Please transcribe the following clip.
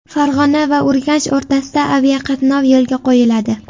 Farg‘ona va Urganch o‘rtasida aviaqatnov yo‘lga qo‘yiladi.